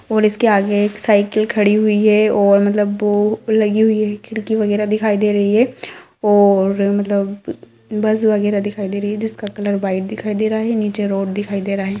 और इसके आगे एक साइकिल खड़ी हुई है और मतलब वो लगी हुई है खिड़की वगैरा दिखाई दे रही है और मतलब बस वगैरा दिखाई दे रही है जिसका कलर व्हाइट दिखाई दे रहा है नीचे रोड दिखाई दे रहा है।